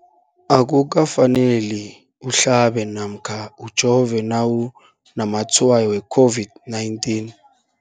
Akuka faneli uhlabe namkha ujove nawu namatshayo we-COVID-19.